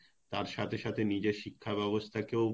তার সাথে সাথে নিজের শিক্ষার ব্যবস্থা কেও